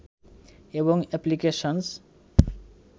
এবং এপ্লিকেশনস